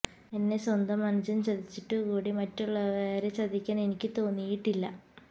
എന്നെ സ്വന്തം അനുജന് ചതിച്ചിട്ടു കൂടി മറ്റുള്ളവരെ ചതിക്കാന് എനിക്ക് തോന്നിയിട്ടില്ല